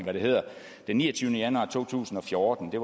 den niogtyvende januar to tusind og fjorten blev